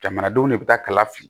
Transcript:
Jamanadenw de bɛ taa kala fili